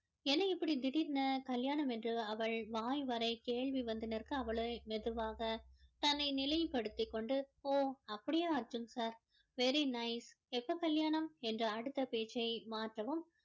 என்ன இப்படி திடீர்னு கல்யாணம் என்று அவள் வாய்வரை கேள்வி வந்து நிற்க அவளை மெதுவாக தன்னை நிலைப்படுத்தி கொண்டு ஒஹ் அப்படியா அர்ஜுன் sir very nice எப்போ கல்யாணம் என்று அடுத்த பேச்சை மாற்றவும்